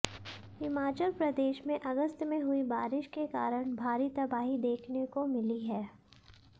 हिमाचल प्रदेश में अगस्त में हुई बारिश के कारण भारी तबाही देखने को मिली है